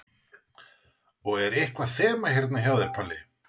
Og er eitthvað þema hérna hjá þér, Palli?